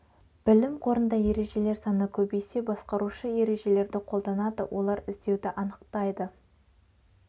білім қорында ережелер саны көбейсе басқарушы ережелерді қолданады олар іздеуді анықтайды